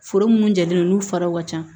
Foro minnu jalen don n'u faraw ka ca